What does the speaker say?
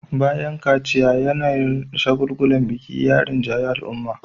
Bayan kaciya, yanayin shagulgulan biki ya rinjayi al'umma